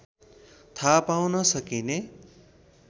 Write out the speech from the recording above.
थाहा पाउन सकिने